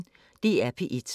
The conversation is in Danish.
DR P1